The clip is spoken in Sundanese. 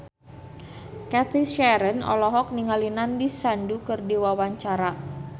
Cathy Sharon olohok ningali Nandish Sandhu keur diwawancara